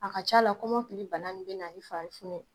A ka ca la kɔmɔkili bana min bɛ na i fari funu.